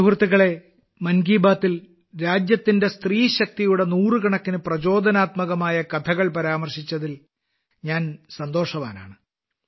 സുഹൃത്തുക്കളേ മൻ കി ബാത്തിൽ രാജ്യത്തിന്റെ സ്ത്രീശക്തിയുടെ നൂറുകണക്കിന് പ്രചോദനാത്മകമായ കഥകൾ പരാമർശിച്ചതിൽ ഞാൻ സന്തോഷവാനാണ്